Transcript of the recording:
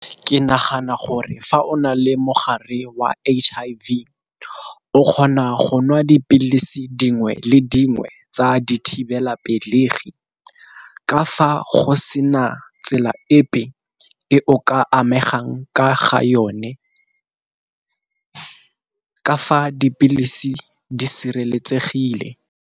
Ke nagana gore fa o na le mogare wa H_I_V o kgona go nwa dipilisi dingwe le dingwe tsa dithibelapelegi, ka fa go sena tsela epe e o ka amegang ka ga yone ka fa dipilisi di sireletsegile.